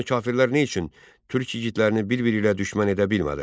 Qaradonlu kafirlər nə üçün türk igidlərini bir-biri ilə düşmən edə bilmədilər?